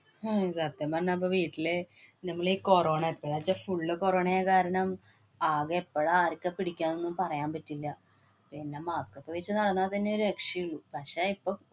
ഹും സത്യം പറഞ്ഞാല്‍ ഇപ്പ വീട്ടില് നമ്മളീ കൊറോണ എപ്പഴാച്ചാ full കൊറോണ ആയ കാരണം ആകെ എപ്പോഴാ ആര്‍ക്കാ പിടിക്കുക എന്നൊന്നും പറയാന്‍ പറ്റില്ല. പിന്നെ mask ഒക്കെ വച്ച് നടന്നാ തന്നേ രക്ഷയുള്ളൂ. പക്ഷേ, ഇപ്പൊ